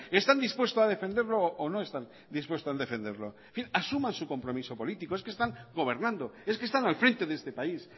están dispuestos a defenderlo o no están dispuestos a defenderlo en fin asuman su compromiso político es que están gobernando es que están al frente de este país